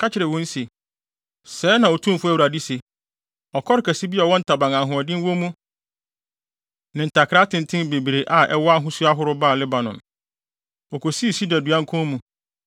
Ka kyerɛ wɔn se, ‘Sɛɛ na Otumfo Awurade se: Ɔkɔre kɛse bi a ɔwɔ ntaban a ahoɔden wɔ mu ne ntakra atenten bebree a ɛwɔ ahosu ahorow baa Lebanon. Okosii sida dua nkɔn mu,